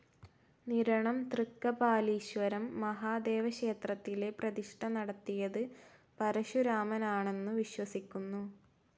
നിരണം തൃക്കപാലീശ്വരം മഹാദേവക്ഷേത്രത്തിലെ പ്രതിഷ്ഠ നടത്തിയത് പരശുരാമനാണന്നു വിശ്വസിക്കുന്നു.